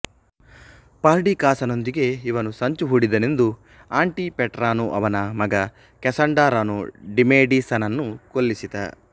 ಪರ್ಡಿಕಾಸನೊಂದಿಗೆ ಇವನು ಸಂಚುಹೂಡಿದನೆಂದು ಆಂಟಿಪೇಟರನೋ ಅವನ ಮಗ ಕ್ಯಸಾಂಡರನೋ ಡಿಮೇಡೀಸನನ್ನು ಕೊಲ್ಲಿಸಿದ